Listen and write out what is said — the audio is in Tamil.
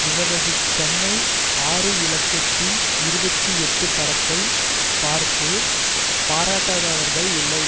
இவரது சென்னை ஆறு இலட்சத்தி இருபத்தி எட்டு படத்தை பார்த்து பாராட்டாதவர்கள் இல்லை